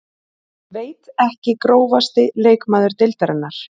Veit ekki Grófasti leikmaður deildarinnar?